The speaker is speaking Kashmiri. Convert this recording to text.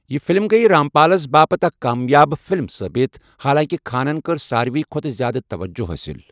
یہِ فِلم گٔیہِ رامپالَس باپتھ اکھ کامیاب فِلم ثٲبت، حالانٛکہِ خانَن کٔر ساروٕے کھۄتہٕ زِیٛادٕ توجہ حٲصِل۔